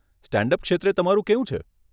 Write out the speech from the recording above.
Stand up ક્ષેત્રે તમારું કેવું છે?